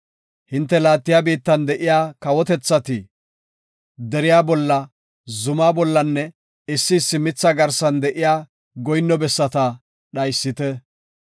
Hinte laattiya biittan de7iya kawotethatis deriya bolla, zumaa bollanne issi issi mitha garsan de7iya goyinno bessata dhaysite.